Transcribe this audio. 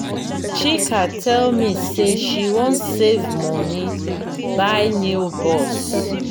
chika tell me say she wan save money buy new bus.